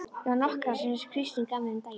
Ég á nokkrar sem Kristín gaf mér um daginn.